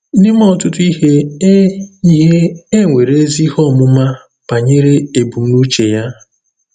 N’ime ọtụtụ ihe, e ihe, e nwere ezi ihe ọmụma banyere ebumnuche Ya.